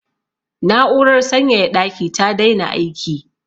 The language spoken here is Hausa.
Na'urar sanyaya ɗaki ta daina aiki.